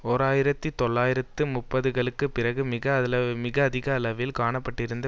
ஓர் ஆயிரத்தி தொள்ளாயிரத்து முப்பதுகளுக்கு பிறகு மிக அதிக அளவில் காணப்பட்டிருந்த